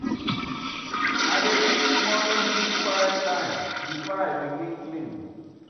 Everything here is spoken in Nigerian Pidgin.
I dey use early morning do quiet time before I begin clean.